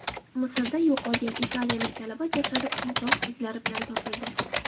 Misrda yo‘qolgan italiyalik talaba jasadi qiynoq izlari bilan topildi.